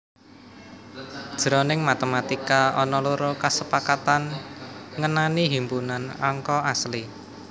Jroning matematika ana loro kasepakatan ngenani himpunan angka asli